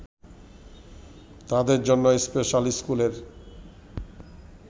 তাদের জন্য স্পেশাল স্কুলের